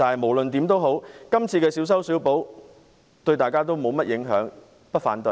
無論如何，今次的小修小補對大家沒有甚麼影響，所以我不會反對。